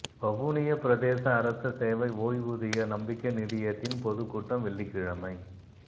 வவுனியா பிரதேச அரச சேவை ஓய்வூதியர் நம்பிக்கை நிதியத்தின் பொதுக்கூட்டம் வெள்ளிக்கிழமை